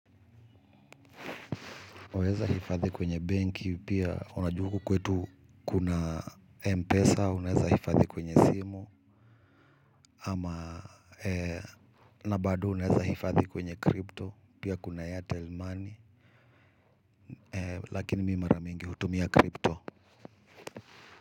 Waweza hifadhi kwenye benki, pia unajua huku kwetu kuna M-pesa, unaweza hifadhi kwenye simu, ama na bado unaweza hifadhi kwenye crypto, pia kuna Airtel Money, lakini mi mara mingi hutumia crypto.